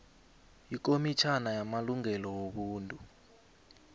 ikomitjhana yamalungelo wobuntu